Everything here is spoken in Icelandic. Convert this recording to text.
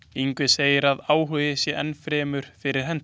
Ingvi segir að sá áhugi sé enn fyrir hendi.